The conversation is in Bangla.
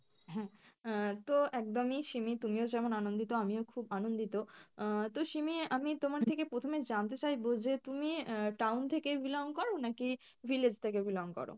হ্যাঁ, আহ তো একদমই সিমি তুমিও যেমন আনন্দিত আমিও খুব আনন্দিত আহ তো সিমি আমি তোমার থেকে প্রথমে জানতে চাইবো যে তুমি আহ town থেকে belong করি নাকি village থেকে belong করো?